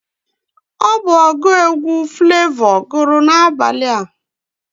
Ọ bụ ọgụ egwu Flavọ gụrụ N'abalị a